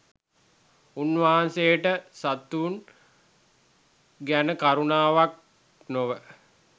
උන්වහන්සේට සතුන් ගැන කරුණාවක් නොව